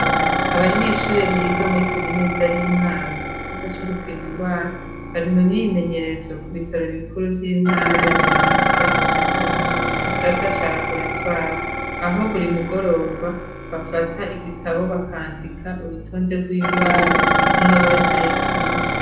Abanyeshuri biga muri kaminuza y'i Mwaro mu gisata c'ugupima indwara, bari mu myimenyerezo ku bitaro bikuru vy'intara ya Muramvya mu gisata ca raboratware, aho buri mugoroba bafata igitabo bakandika urutonde rw'indwara umwe wese yapimye.